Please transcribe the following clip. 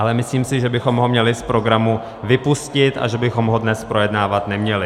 Ale myslím si, že bychom ho měli z programu vypustit a že bychom ho dnes projednávat neměli.